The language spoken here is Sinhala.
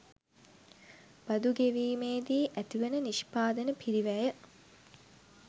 බදු ගෙවීමේදී ඇති වන නිෂ්පාදන පිරිවැය